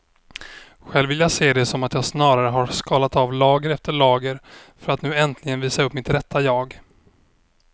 Själv vill jag se det som att jag snarare har skalat av lager efter lager för att nu äntligen visa upp mitt rätta jag.